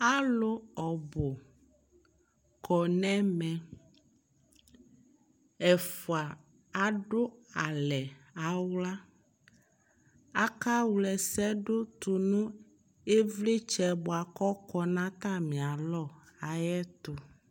alʋ ɔbʋ kɔnʋ ɛmɛ, ɛƒʋa adʋ alɛ nʋ ala, aka wla ɛsɛdʋ tʋnʋ ivlitsɛ bʋakʋ ɔkɔ nʋ atami alɔ ayiɛtʋ